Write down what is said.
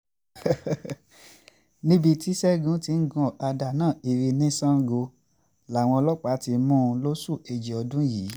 níbi tí ṣẹ́gun ti ń gun ọ̀kadà náà kiri ní sango làwọn ọlọ́pàá ti mú un lóṣù kejì ọdún yìí